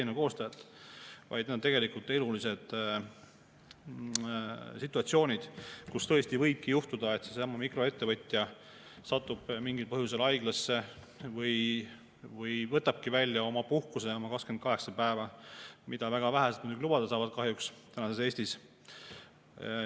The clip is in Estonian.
Need on elulised situatsioonid, kus tõesti võibki juhtuda, et seesama mikroettevõtja satub mingil põhjusel haiglasse või võtabki välja oma puhkuse 28 päeva, mida küll kahjuks väga vähesed lubada saavad tänases Eestis.